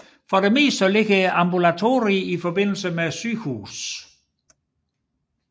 Som oftest ligger ambulatorier i forbindelse med sygehuse